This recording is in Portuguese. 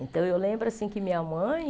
Então, eu lembro assim que minha mãe...